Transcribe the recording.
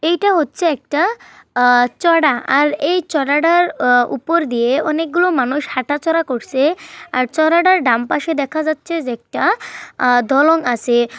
এইটা হচ্ছে একটা আ চড়া। আর এই চড়াটার আ উপর দিয়ে অনেকগুলো মানুষ হাঁটাচলা করছে আর চড়া টার ডান পাশে দেখা যাচ্ছে যে একটা দলন আছে।